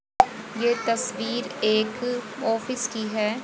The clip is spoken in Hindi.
ये तस्वीर एक ऑफिस की है।